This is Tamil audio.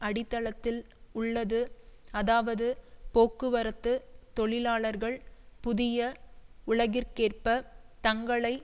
அடித்தளத்தில் உள்ளது அதாவது போக்குவரத்து தொழிலாளர்கள் புதிய உலகிற்கேற்ப தங்களை